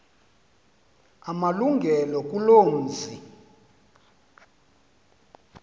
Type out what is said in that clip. amalungelo kuloo mzi